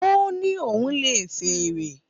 Ó ní òun lè fèrè